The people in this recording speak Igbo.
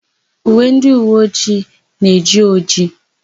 Uwe ndịuweojii na-eji ojii.